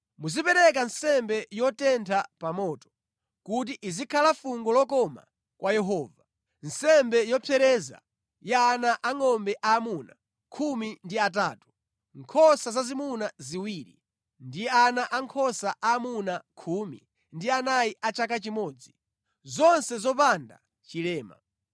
Muzipereka nsembe yotentha pa moto, kuti izikhala fungo lokoma kwa Yehova, nsembe yopsereza ya ana angʼombe aamuna khumi ndi atatu, nkhosa zazimuna ziwiri, ndi ana ankhosa aamuna khumi ndi anayi a chaka chimodzi, zonse zopanda chilema.